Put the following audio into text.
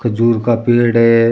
खुजूर का पेड़ है।